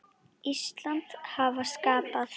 Íslands hafa skapað.